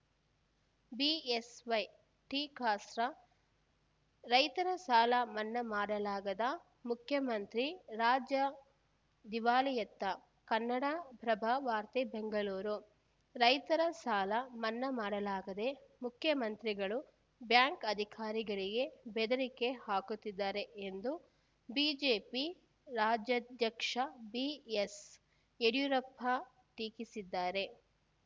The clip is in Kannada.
ಬಿಎಸ್‌ವೈ ಟೀಕಾಸ್ತ್ರ ರೈತರ ಸಾಲ ಮನ್ನಾ ಮಾಡಲಾಗದ ಮುಖ್ಯಮಂತ್ರಿ ರಾಜ್ಯ ದಿವಾಳಿಯತ್ತ ಕನ್ನಡಪ್ರಭ ವಾರ್ತೆ ಬೆಂಗಳೂರು ರೈತರ ಸಾಲ ಮನ್ನಾ ಮಾಡಲಾಗದೆ ಮುಖ್ಯಮಂತ್ರಿಗಳು ಬ್ಯಾಂಕ್‌ ಅಧಿಕಾರಿಗಳಿಗೆ ಬೆದರಿಕೆ ಹಾಕುತ್ತಿದ್ದಾರೆ ಎಂದು ಬಿಜೆಪಿ ರಾಜ್ಯಾಧ್ಯಕ್ಷ ಬಿಎಸ್‌ಯಡಿಯೂರಪ್ಪ ಟೀಕಿಸಿದ್ದಾರೆ